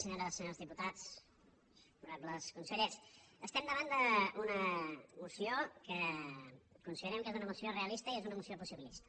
senyores i senyors diputats honorables consellers estem davant d’una moció que considerem que és una moció realista i és una moció possibilista